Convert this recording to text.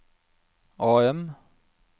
AM